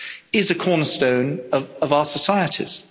is a cornerstone of our societies.